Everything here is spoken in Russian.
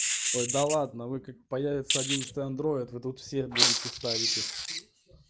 ой да ладно вы как появится одиннадцатый андроид вы тут все будете ставить их